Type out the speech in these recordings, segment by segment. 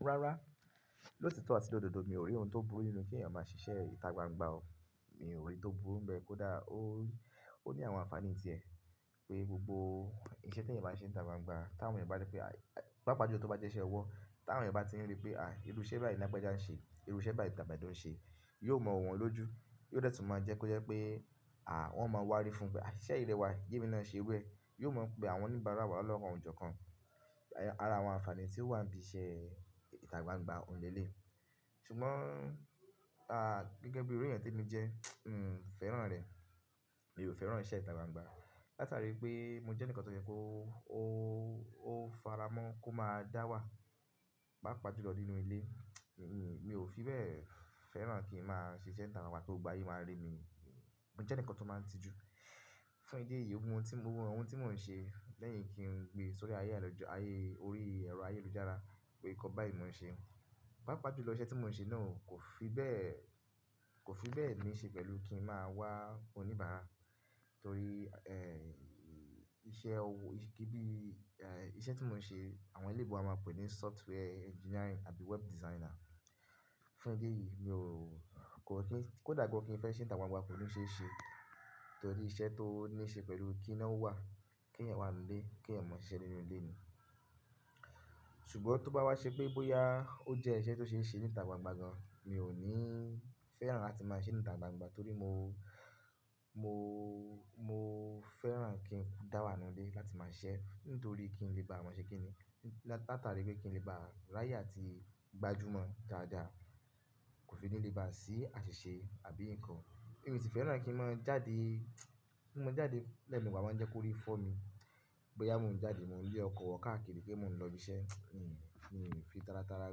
Rárá, ló titó àti ló dodo, mi ò rí ohun tó burú nínú kí ènìyàn máa ṣiṣẹ́ ìtà gbangba o. Mi ò rí n tó burú bẹ́ẹ̀ kó dà ó, ó ní àwọn ànfàní ti ẹ̀. Pé gbogbo iṣẹ́ tí ènìyàn bá ṣe nìtà gbangba, tí àwọn ènìyàn bá nípé ah, pàjpa júló tó bá jẹ́ iṣẹ́ ọwọ́, tí àwọn ènìyàn bá ti rí pé à írú iṣẹ́ báyìí ni lagbaja ń ṣe, irú iṣẹ́ báyìí tamedu ń ṣe, yóò mọ wu wọ́n lójú. Yóò dẹ́tùn máa jẹ́ kó jẹ́ pé àh wọ́n máa wá rí fún pé "a iṣẹ́ yi rẹwà, jémi náà ṣe ru e". Yóò mọ̀ pé àwọn oníbàárà wà lọ́kan ọ̀jọ̀ọ̀kan. Ara àwọn ànfàní tí ó wà n biṣẹ́ ìtà gbangba ohun leleyi. Ṣùgbọ́n gẹ́gẹ́ bí iru eẹ̀yàn temi jẹ́, n fẹ́ràn rẹ̀. Mi ò fẹ́ràn iṣẹ́ ìtà gbangba. Látàrí pé mo jẹ́nikan tó yẹ́ kó o faramọ́ kó máa dá wà paapà júlọ nínú ilé, mi ò fi bẹ́ẹ̀ fẹ́ràn kí n máa ṣe iṣẹ́ ìtà gbangba kí gbogbo ayé máa rí mi. Mo jẹ́ eǹikan tó máa ń tijú, fún ìdí èyí, gbogbo ohun tí mò ń ṣe lẹ́yìn kí ń gbé sórí ayé àlòjọ, ayé orí ẹ̀rọ ayélujára pé nkan báyí ni mò ń ṣe. Paapà júlọ, iṣẹ́ tí mò ń ṣe náà kò fi bẹ́ẹ̀, kò fi bẹ́ẹ̀ ní ṣe pẹ̀lú kí n máa wà oníbàárà torí, iṣẹ́ owó, kí ní iṣẹ́ tí mò ń ṣe àwọn ellebo a máa pèé ní software engineering àbí web designer. Fún ìdí èyí mi ò, kòda kí n fẹ́ ṣe nità gbangba kò ní ṣeeṣe torí iṣẹ́ tó ní ṣe pẹ̀lú kí nawà, kẹ̀eyàń wanuu lé, kéèyàn máa ṣiṣẹ́ nínú ilé ni. Ṣùgbọ́n tó bá wá ṣe pé bóyá ó jẹ́ iṣẹ́ tó ṣeese nítà gbangba gan, mi ò ní fẹ́ràn láti máa ṣe nità gbangba torí mo, mo, mo fẹ́ràn kí n dá wà nínú ilé láti máa sisẹ́ nítorí kí n lè bá maa ṣe kíni. Látàrí pé kí n lè bá rayé àti gbajúmọ̀ dáadáa kò fi ní lè bá a sí àṣìṣe àbí nǹkan. Èmi o sì fẹ́ràn kí n máa jáde, kí n máa jáde lẹ́e mewa, o máa ń jẹ́ kó rí fọ́ mi. Bóyá mò ń jáde mò ń lé ọkọ̀ wo káàkiri pe mò ń lọ biiṣẹ́, n mi ò fi tárátara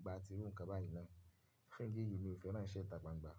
gba tiru ǹkan báyẹn mo. Fún ìdí èyí mi ò fẹ́ràn iṣẹ́ ìtà gbangba.